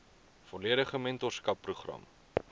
volledige mentorskap program